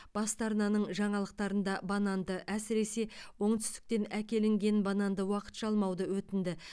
басты арнаның жаңалықтарында бананды әсіресе оңтүстіктен әкелінген бананды уақытша алмауды өтінді